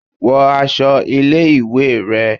Wọ aṣọ ilé ìwé rẹ